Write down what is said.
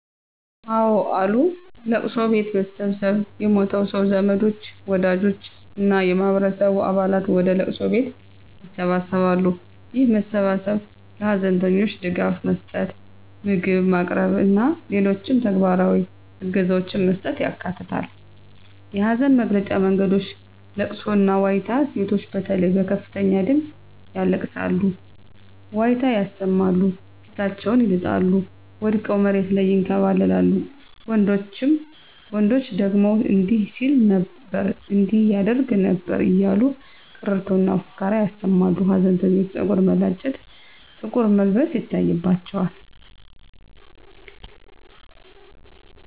አወ አሉ፦ ለቅሶ ቤት መሰብሰብ የሞተው ሰው ዘመዶች፣ ወዳጆች እና የማህበረሰቡ አባላት ወደ ለቅሶ ቤት ይሰበሰባሉ። ይህ መሰባሰብ ለሀዘንተኞች ድጋፍ መስጠት፣ ምግብ ማቅረብ እና ሌሎች ተግባራዊ እገዛዎችን መስጠትን ያካትታል። የሀዘን መግለጫ መንገዶች * ለቅሶና ዋይታ: ሴቶች በተለይ በከፍተኛ ድምጽ ያለቅሳሉ፣ ዋይታ ያሰማሉ፣ ፊታቸውን ይልጣሉ፣ ወድቀው መሬት ላይ ይንከባለላሉ፤ ወንዶች ደግሞ እንዲህ ሲል ነበር እንዲህ ያደርግ ነበር እያሉ ቀረርቶና ፉከራ ያሰማሉ። ሀዘንተኞች ፀጉር መላጨት፣ ጥቁር መልበስ ይታይባቸዋል።